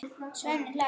Svenni hlær.